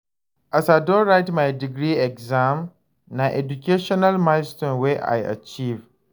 As I don write my degree exam, na educational milestone wey I achieve.